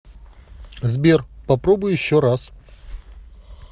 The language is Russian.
сбер попробуй еще раз